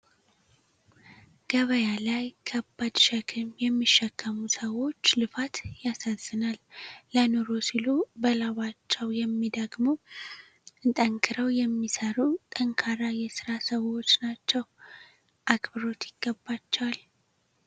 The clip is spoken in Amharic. ገበያ ላይ ከባድ ሸክም የሚሸከሙ ሰዎች ልፋት ያሳዝናል። ለኑሮ ሲሉ በላባቸው የሚደክሙ እንጠንክረው የሚሰሩ ጠንካራ የስራ ሰዎች ናቸው። አክብሮት ይገባቸው!